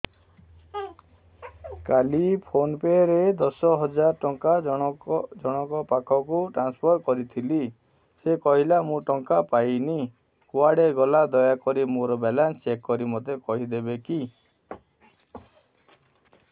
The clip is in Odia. କାଲି ଫୋନ୍ ପେ ରେ ଦଶ ହଜାର ଟଙ୍କା ଜଣକ ପାଖକୁ ଟ୍ରାନ୍ସଫର୍ କରିଥିଲି ସେ କହିଲା ମୁଁ ଟଙ୍କା ପାଇନି କୁଆଡେ ଗଲା ଦୟାକରି ମୋର ବାଲାନ୍ସ ଚେକ୍ କରି ମୋତେ କହିବେ କି